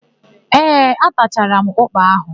Ee, atachara m ụ́kpà áhụ̀.